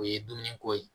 O ye dumuni ko ye